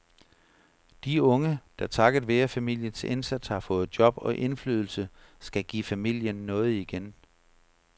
De unge, der takket være familiens indsats har fået job og indflydelse, skal give familien noget igen.